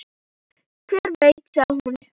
Hver veit, sagði hún.